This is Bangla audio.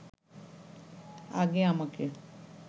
আগে আমাকে